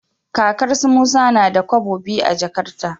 Kakar su musa nada kobo biyu a jakarta